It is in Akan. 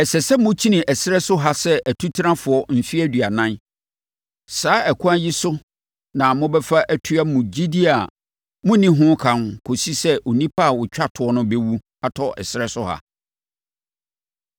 Ɛsɛ sɛ mokyini ɛserɛ so ha sɛ atutenafoɔ mfeɛ aduanan. Saa ɛkwan yi so na mobɛfa atua mo gyidie a monni ho ka kɔsi sɛ onipa a ɔtwa toɔ no bɛwu atɔ ɛserɛ so ha.